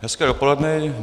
Hezké dopoledne.